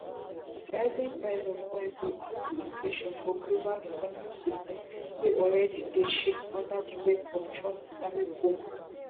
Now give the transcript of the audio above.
rising price of oil go add to inflation for global economic system wey already dey shake under di weight of trump tariff war